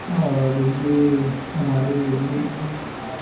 और ये हमारे मुर्मू जी है।